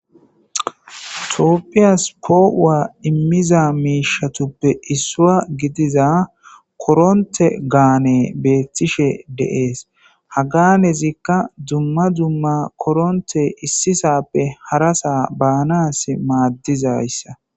Tooppiyas poo7uwa immiza miishatuppe issua gidiza koronte gaane beettishe deees haganezikka dumma dumma koronte issisappe harasa baanas maaddizayssa.